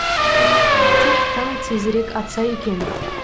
тек таң тезірек атса екен